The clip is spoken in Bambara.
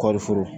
Kɔɔri foro